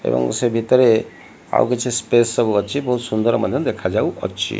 ଏବଂ ସେ ଭିତରେ ଆଉ କିଛି ସ୍ପେସ ସବୁ ଅଛି ବହୁତ ସୁନ୍ଦର ମଧ୍ୟ ଦେଖାଯାଉଅଛି।